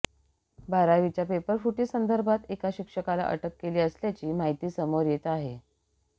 बारावीच्या पेपरफुटीसंदर्भात एका शिक्षकाला अटक केली असल्याची माहिती समोर येत आहे